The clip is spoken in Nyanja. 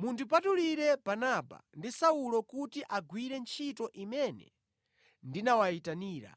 “Mundipatulire Barnaba ndi Saulo kuti akagwire ntchito imene ndinawayitanira.”